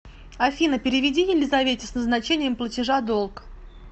афина переведи елизавете с назначением платежа долг